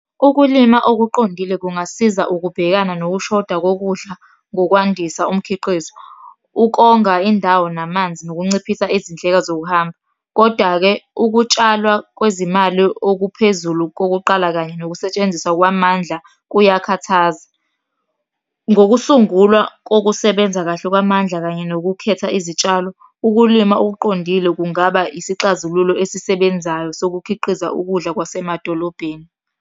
Ukulima okuqondile kungasiza ukubhekana nokushoda kokudla ngokwandisa umkhiqizo, ukonga indawo namanzi, nokunciphisa izindleko zokuhamba, koda-ke, ukutshalwa kwezimali okuphezulu kokuqala kanye nokusetshenziswa kwamandla kuyakhathaza. Ngokusungulwa kokusebenza kahle kwamandla kanye nokukhetha izitshalo, ukulima okuqondile kungaba isixazululo esisebenzayo sokukhiqiza ukudla kwasemadolobheni.